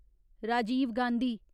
Rajiv Gandhi